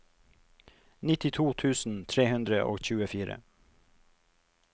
nittito tusen tre hundre og tjuefire